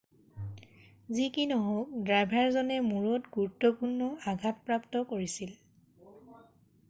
যি নহওঁক ড্ৰাইভাৰজনে মূৰত গুৰুত্বপূৰ্ণ আঘাত প্ৰাপ্ত কৰিছিল৷